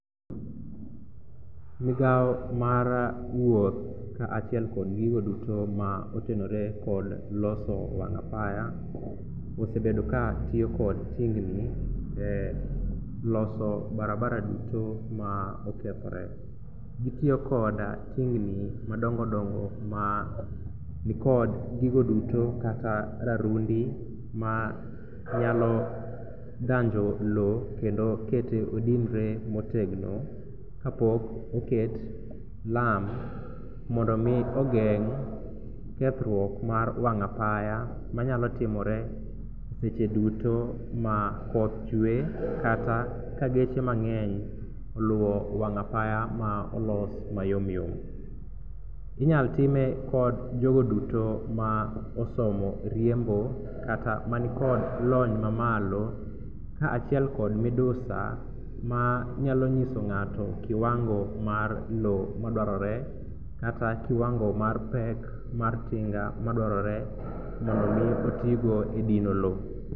Migao mar wuoth kaachiel kod gigo duto ma otenore kod loso wang' apaya osebedo katiyo kod tingni loso barabara duto ma okethore. Gitiyo koda tingni madongodongo manikod gigo duto kata rarundi manyalo dhanjo lo kendo kete odinre motegno kapok oket lam mondo omi ogeng' kethruok mar wang' apaya manyalo timore seche duto ma koth chwe kata ka geche mang'eny oluwo wang' apaya molos mayomyom. Inyalo time kod jogo duto ma osomo riembo kata manikod lony mamalo kaachiel kod midusa manyalo nyiso ng'ato kiwango mar lo madwarore kata kiwango mar pek mar tinga madwarore mondo omi otigo e dino lo.